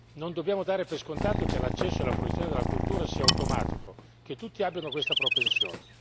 Non dobbiamo dare per scontato che l'accesso alla fruizione della cultura sia automatico e che tutti abbiano questa propensione.